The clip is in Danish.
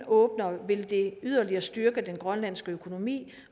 åbner vil det yderligere styrke den grønlandske økonomi